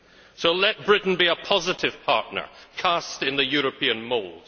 So let Britain be a positive partner, cast in the European mould.